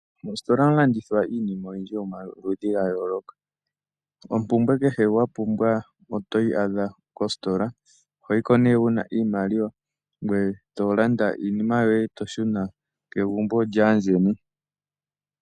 Mositola ohamu landithwa iinima oyindji yomaludhi ga yooloka. Ompumbwe kehe wa pumbwa oto yi adha kositola. Oho yi ko nee wu na iimaliwa, ngoye to landa iinima yoye e to shuna kegumbo lyaayeni.